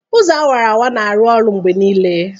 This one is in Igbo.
Ụzọ awara-awara na-arụ ọrụ mgbe niile.